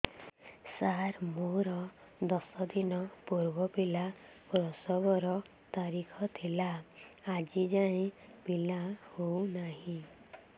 ସାର ମୋର ଦଶ ଦିନ ପୂର୍ବ ପିଲା ପ୍ରସଵ ର ତାରିଖ ଥିଲା ଆଜି ଯାଇଁ ପିଲା ହଉ ନାହିଁ